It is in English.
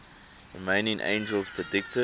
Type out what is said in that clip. remaining angels predicted